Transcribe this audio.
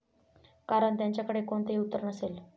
कारण त्यांच्याकडे कोणतेही उत्तर नसेल.